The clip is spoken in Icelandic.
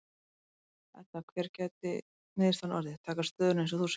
Edda: Hver gæti niðurstaðan orðið, taka stöðuna eins og þú segir?